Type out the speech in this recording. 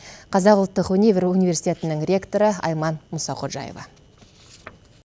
қазақ ұлттық өнер университетінің ректоры айман мұсаходжаева